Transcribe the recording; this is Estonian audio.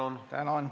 Tänan!